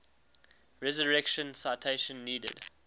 resurrection citation needed